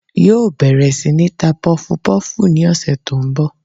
Yóò bèrè sí ní ta pufupúfù ni òsè tó n bò